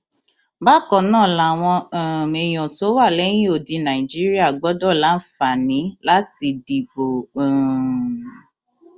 bákan náà làwọn um èèyàn tó wà lẹyìn odi nàìjíríà gbọdọ láǹfààní láti dìbò um